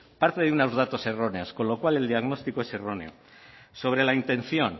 parte de unos datos erróneos con lo cual el diagnóstico es erróneo sobre la intención